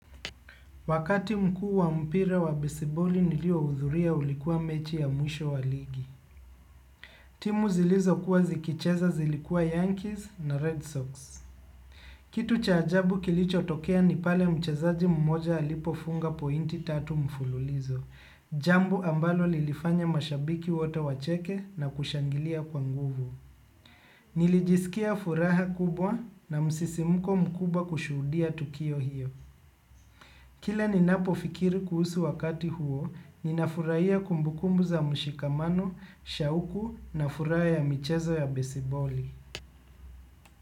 Wakati mkuu wa mpira wa besiboli nilio hudhuria ulikuwa mechi ya mwisho wa ligi. Timu zilizo kuwa zikicheza zilikuwa Yankees na Red Sox. Kitu cha ajabu kilicho tokea ni pale mchezaji mmoja alipofunga pointi tatu mfululizo. Jambo ambalo lilifanya mashabiki wote wacheke na kushangilia kwa nguvu. Nilijisikia furaha kubwa na msisimuko mkubwa kushuhudia tukio hiyo. Kila ninapo fikiri kuhusu wakati huo, ninafurahia kumbukumbu za mshikamano, shauku na furaha michezo ya besiboli.